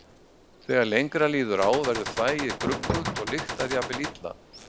Þegar lengra líður á verður þvagið gruggugt og lyktar jafnvel illa.